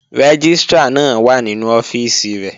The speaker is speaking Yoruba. Rẹ́gístrà náà wà nínú ọ́fíìsì rẹ̀